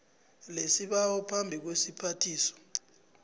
lesibawo phambi kwesiphathiswa